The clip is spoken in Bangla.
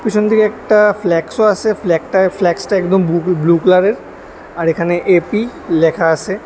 পিছন দিকে একটা ফ্লেক্সও আছে ফ্ল্যাকটায়-ফ্ল্যাক্সটা একদম বু-ব্লু কালারের আর এখানে এ_পি লেখা আছে।